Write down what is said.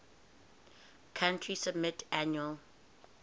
country submit annual